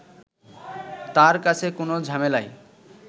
তার কাছে কোনো ঝামেলাই